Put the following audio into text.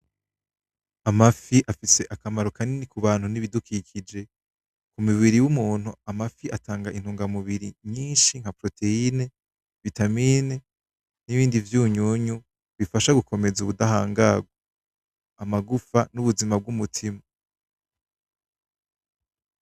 Amafi afise akamaro kanini kubantu nibidukikije. Kumibiri y'umuntu amafi atanga intunga mubiri nyinshi nka proteyine, vitamine nibindi vyunyunyu bifasha gukomeza ubudahangagwa, amagufa nubuzima bw'umutima.